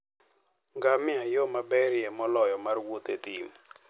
Ngamia e yo maberie moloyo mar wuoth e thim.